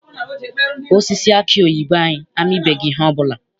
Osisi aki oyibo anyị amibeghị ihe ọbụla.